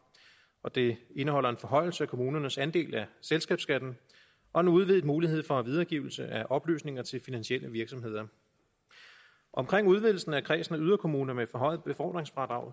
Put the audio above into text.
og det indeholder en forhøjelse af kommunernes andel af selskabsskatten og en udvidet mulighed for videregivelse af oplysninger til finansielle virksomheder omkring udvidelsen af kredsen af yderkommuner med forhøjet befordringsfradrag